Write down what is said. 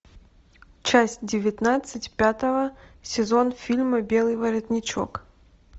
часть девятнадцать пятого сезон фильма белый воротничок